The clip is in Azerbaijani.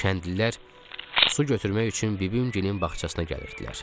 Kəndlilər su götürmək üçün bibimgilin bağçasına gəlirdilər.